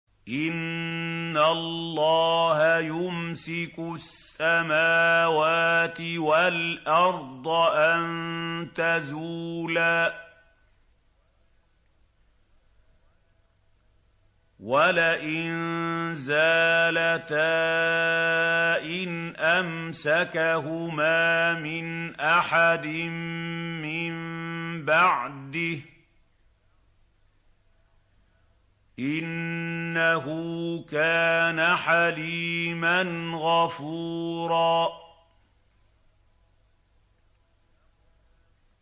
۞ إِنَّ اللَّهَ يُمْسِكُ السَّمَاوَاتِ وَالْأَرْضَ أَن تَزُولَا ۚ وَلَئِن زَالَتَا إِنْ أَمْسَكَهُمَا مِنْ أَحَدٍ مِّن بَعْدِهِ ۚ إِنَّهُ كَانَ حَلِيمًا غَفُورًا